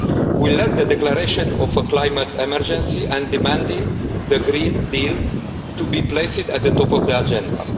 We led the declaration of a climate emergency and demanded the Green Deal be placed at the top of the agenda.